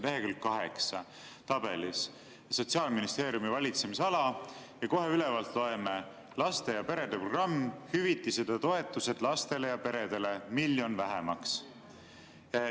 Lehekülg 8, tabel "Sotsiaalministeeriumi valitsemisala", ja kohe ülevalt loeme: "Laste ja perede programm, hüvitised ja toetused lastele ja peredele" – miljon vähemaks.